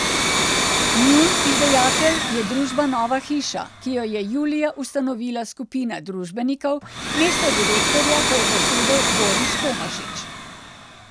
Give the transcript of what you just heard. Njun izdajatelj je družba Nova hiša, ki jo je julija ustanovila skupina družbenikov, mesto direktorja pa je zasedel Boris Tomašič.